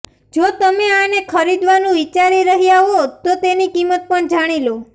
જો તમે આને ખરીદવાનું વિચારી રહ્યા હો તો તેની કિંમત પણ જાણી લો